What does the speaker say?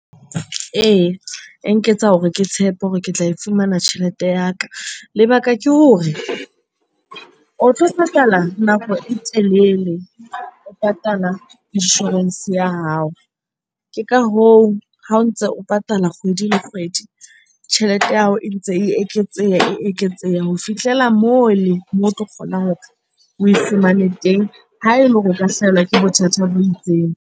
Ee, e nketsa hore ke tshepe hore ke tla e fumana tjhelete ya ka. Lebaka ke hore o tlo patala nako e telele, o patala insurance ya hao. Ke ka hoo ha o ntse o patala kgwedi le kgwedi, tjhelete ya hao e ntse e eketseha, e eketseha ho fihlela moo le moo o tlo kgona hore oe fumane teng ha ele hore o ka hlahelwa ke bothata bo itseng.